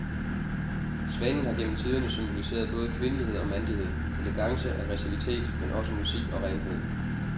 Svanen har gennem tiderne symboliseret både kvindelighed og mandighed, elegance og aggressivitet, men også musik og renhed.